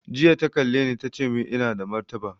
Jiya ta kalle ni ta ce mun ina da martaba